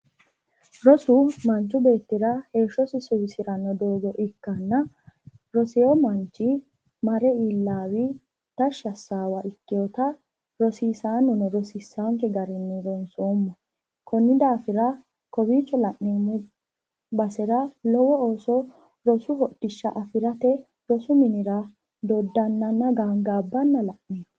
rosu manchu beettira heshshosi suwiisirano doogo ikkina rosiino mannichi maree iilawi tashshi assawa ikewootai rosisaano rosisaanoke daninni rosoommo koni dafira kowicho loneemmo baesera lowo ooso rorusu hodhishsha affiraate minira dodaananna gagaabbana la'neemmo